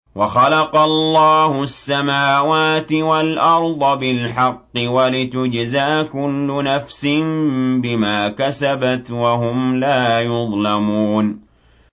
وَخَلَقَ اللَّهُ السَّمَاوَاتِ وَالْأَرْضَ بِالْحَقِّ وَلِتُجْزَىٰ كُلُّ نَفْسٍ بِمَا كَسَبَتْ وَهُمْ لَا يُظْلَمُونَ